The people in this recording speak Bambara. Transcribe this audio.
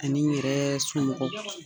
A n'i yɛrɛɛɛ somɔgɔw